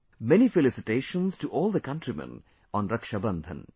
Many felicitations to all the countrymen on Rakshabandhan